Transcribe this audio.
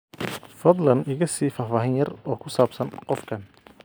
fadlan iga sii faahfaahin yar oo ku saabsan qofkan